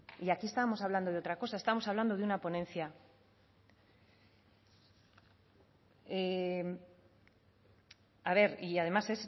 y aquí estamos hablando de otra cosa estamos hablando de una ponencia a ver y además